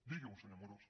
digui ho senyor amorós